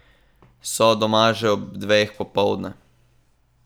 So doma že ob dveh popoldne?